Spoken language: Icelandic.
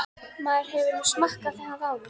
Maður hefur nú smakkað það áður.